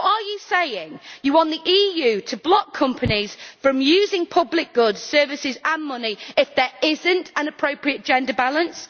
So are you saying that you want the EU to block companies from using public goods, services and money if there is not an appropriate gender balance?